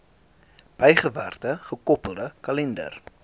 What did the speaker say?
bygewerkte gekoppelde kalender